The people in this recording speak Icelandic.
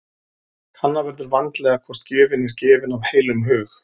Kanna verður vandlega hvort gjöfin er gefin af heilum hug.